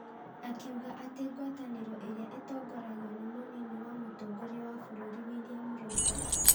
Akiuga atĩ ngwatanĩro ĩrĩa ĩtongoragio nĩ mũnini wa mũtongoria wa bũrũri William Ruto,